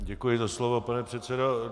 Děkuji za slovo, pane předsedo.